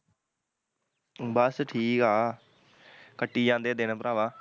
ਬਸ ਠੀਕ ਆ ਕੱਟੀ ਜਾਂਦੇ ਦਿਨ ਪਰਾਵਾਂ